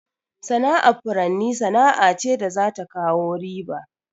Sana'ar furanni sana'a ce da za ta kawo riba.